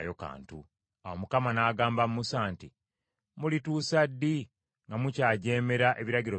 Awo Mukama n’agamba Musa nti, “Mulituusa ddi nga mukyajeemera ebiragiro byange?